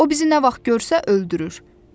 O bizi nə vaxt görsə öldürür.